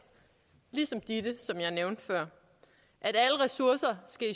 ligesom ditte som jeg nævnte før alle ressourcer skal